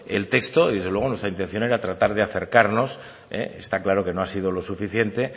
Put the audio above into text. el texto y desde luego nuestra intención era tratar a acercarnos está claro que no ha sido lo suficiente